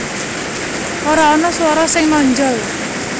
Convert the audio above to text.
Ora ana swara sing nonjol